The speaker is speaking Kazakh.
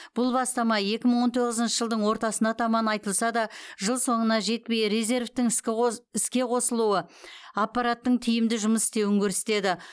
бұл бастама екі мың он тоғызыншы жылдың ортасына таман айтылса да жыл соңына жетпей резервтің іске қосылуы аппараттың тиімді жұмыс істеуін көрсетеді